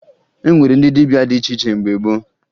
E nwere ndị dibịa dị iche iche mgbe gboo